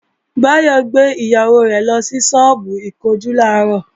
Báyọ̀ gbé ìyàwó rẹ̀ lọ sọ́ọ́bù ìkunjú làárọ̀